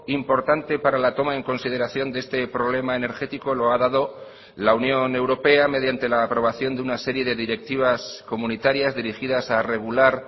importante para la toma en consideración de este problema energético lo ha dado la unión europea mediante la aprobación de una serie de directivas comunitarias dirigidas a regular